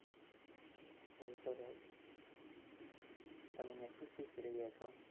બહુ સરસ, તમે ત્યાં શું શીખી રહ્યા છો?